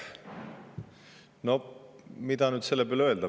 No mida selle peale öelda?